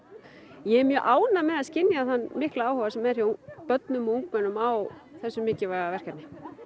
ég er mjög ánægð með að skynja þann mikla áhuga sem er hjá börnum og ungmennum á þessu mikilvæga verkefni